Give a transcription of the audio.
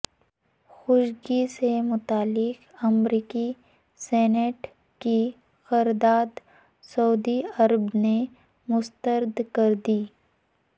Khashoggi سے متعلق امریکی سینیٹ کی قرارداد سعودی عرب نے مسترد کردی